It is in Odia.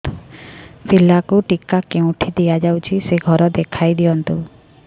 ପିଲାକୁ ଟିକା କେଉଁଠି ଦିଆଯାଉଛି ସେ ଘର ଦେଖାଇ ଦିଅନ୍ତୁ